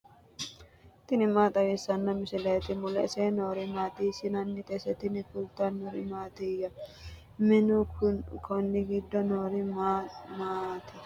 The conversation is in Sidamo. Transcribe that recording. tini maa xawissanno misileeti ? mulese noori maati ? hiissinannite ise ? tini kultannori mattiya? Minu konni giddo noori ma maati?